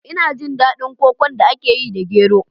Ina jin daɗin kokon da aka yi da gero